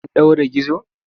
An ɗaure gizo?